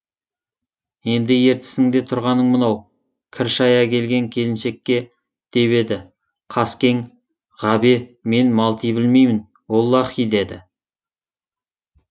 енді ертісіңде тұрғаның мынау кір шая келген келіншекше деп еді қаскең ғабе мен малти білмеймін оллаһи деді